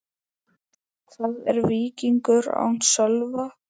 Hvað er Víkingur án Sölva?